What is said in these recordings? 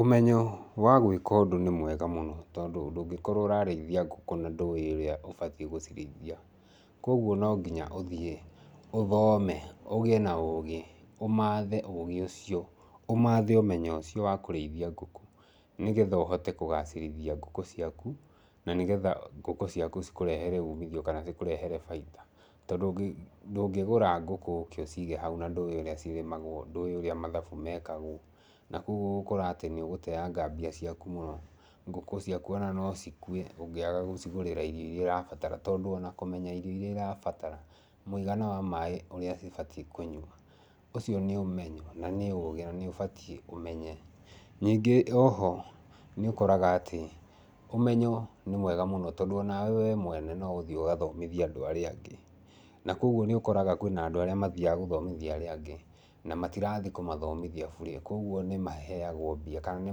Ũmenyo wa gwĩka ũndũ nĩ mwega mũno. Tondũ ndũngĩkorwo ũrarĩithia ngũkũ na ndũĩ ũrĩa ũbatie gũcirĩithia. Koguo no nginya uthiĩ ũthome, ũgie na ũgĩ, ũmaathe ũgĩ ũcio, ũmaathe ũmenyo ũcio wa kũrĩithia ngũkũ, nĩgetha ũhote kũgaacĩrithia ngũ ciaku, na nĩ getha ngũkũ ciaku cikũrehere umithio kana cikũrehere baita. Tondũ ndũngĩgũra ngũkũ ũke ũcige hau na ndũĩ ũrĩa cirĩmagwo, ndũĩ ũrĩa mathabu mekagwo. Na koguo ũgũkora atĩ nĩ ũgũteanga mbia ciaku mũno. Ngũkũ ciaku o na no cikue ũngiaga gũcigũrĩra irio iria irabatara. Tondũ ona kũmenya irio iria irabatara, na mũigana wa maaĩ marĩa cibatie kũnyua, ũcio nĩ ũmenyo na nĩ ũgĩ na nĩ ũbatiĩ ũmenye. Ningĩ o ho, nĩ ukoraga atĩ ũmenyo nĩ mwega mũno tondũ o nawe we mwene no uthiĩ ũgathomithie andũ arĩa angĩ. Na koguo nĩ ũkoraga kwina andũ arĩa mathiaga gũthomithia arĩa angĩ, na matirathiĩ kũmathomithia bure koguo nimaheagwo mbia, kana ni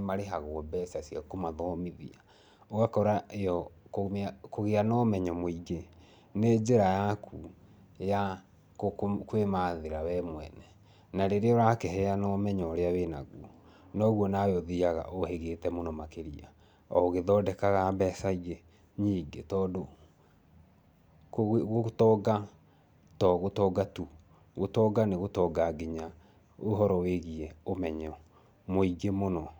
marihagwo mbeca cia kũmathomithia. Ũgakora Kũgia na ũmenyo muingĩ, nĩ njĩra yaku ya kwĩmathĩra we mwene. Na rĩrĩa ũrakihena ũmenyo ũrĩa wĩnaguo, noguo nawe ũthiaga ũhĩgĩte mũno makĩria o ũgihtondekaga mbeca ingĩ nyingĩ. Tondũ gũtonga to gũtonga tu. Gũtonga nĩ gũtonga nginya ũhoro wĩgiĩ ũmenyo muingĩ mũno.